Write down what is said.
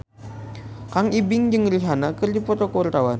Kang Ibing jeung Rihanna keur dipoto ku wartawan